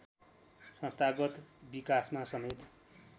संस्थागत विकासमा समेत